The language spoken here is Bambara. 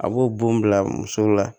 A b'o bon bila muso la